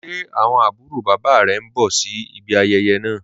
Ṣẹ́ awọn abùrò baba rẹ̀ ǹ bọ̀ sí ìbí ayéyé naa?